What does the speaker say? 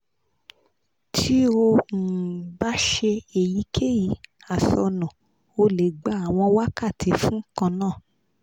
tí ó um bá ṣe èyíkèyí àsọnù o lè gba àwọn wákàtí fún kan náà